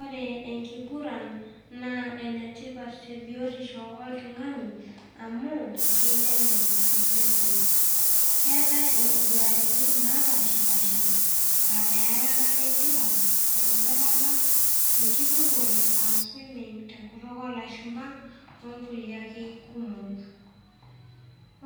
Ore enkiguran, naa enetipat te biotisho oltung'ani, amu keineneng' osesen. Keatai inkuguratin naasha pasha , aa earata e mpira enkwetata, enkirupore aa swimming te enkutuk oo lashumba, oo nkulie ake kumok.